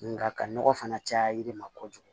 Nka ka nɔgɔ fana caya yiri ma kojugu